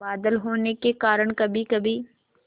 बादल होने के कारण कभीकभी